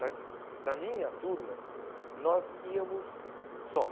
Mas na minha turma, nós íamos só.